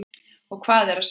Og hvað er að sjá?